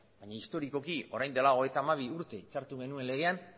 baina historikoki orain dela hogeita hamabi urte hitzartu genuen legean